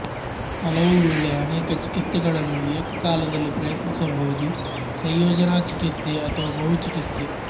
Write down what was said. ಹಲವುವೇಳೆ ಅನೇಕ ಚಿಕಿತ್ಸೆಗಳನ್ನು ಏಕಕಾಲದಲ್ಲಿ ಪ್ರಯತ್ನಿಸಬಹುದು ಸಂಯೋಜನಾ ಚಿಕಿತ್ಸೆ ಅಥವಾ ಬಹುಚಿಕಿತ್ಸೆ